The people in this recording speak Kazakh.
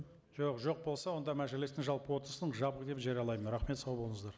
жоқ жоқ болса онда мәжілістің жалпы отырысын жабық деп жариялаймын рахмет сау болыңыздар